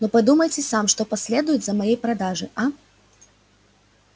но подумайте сам что последует за моей продажей а